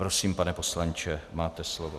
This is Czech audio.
Prosím, pane poslanče, máte slovo.